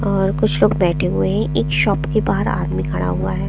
और कुछ लोग बैठे हुए हैं एक शॉप के बाहर आदमी खड़ा हुआ है।